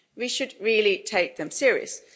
We should really take them seriously.